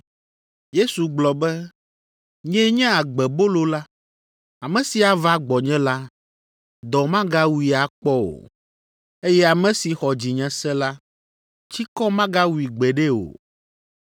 Yesu gblɔ be, “Nyee nye agbebolo la. Ame si ava gbɔnye la, dɔ magawui akpɔ o, eye ame si xɔ dzinye se la, tsikɔ magawui gbeɖe o.